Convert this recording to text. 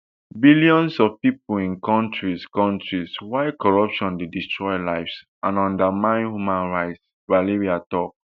billions of pipo live in kontris kontris wia corruption dey destroy lives and undermine human rights valeria tok